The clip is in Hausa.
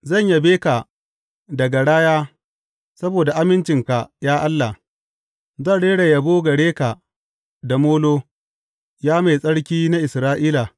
Zan yabe ka da garaya saboda amincinka, ya Allah; zan rera yabo gare ka da molo, Ya Mai Tsarki na Isra’ila.